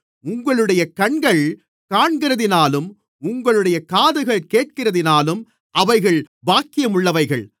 உங்களுடைய கண்கள் காண்கிறதினாலும் உங்களுடைய காதுகள் கேட்கிறதினாலும் அவைகள் பாக்கியமுள்ளவைகள்